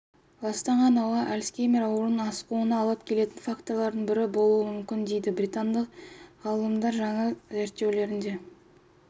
ластанған ауа альцгеймер ауруының асқынуына алып келетін факторлардың бірі болуы мүмкін дейді британдық ғалымдар жаңа зерттеулерінде